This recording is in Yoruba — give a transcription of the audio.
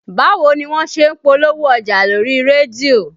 Báwo ni wọ́n ṣe ń polówó ọjà lórí rédíò?